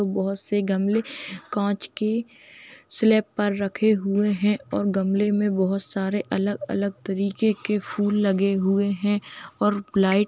बहुत से गमले कांच के स्लैब पर रखे हुए हैं और गमले में बहुत सारे अलग-अलग तरीके के फूल लगे हुए हैं और लाईट--